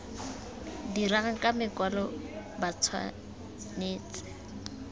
dirang ka makwalo ba tshwanetse